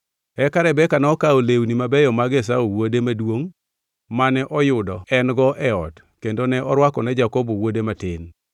Eka Rebeka nokawo lewni mabeyo mag Esau wuode maduongʼ mane oyudo en-go e ot kendo ne orwako ne Jakobo wuode matin.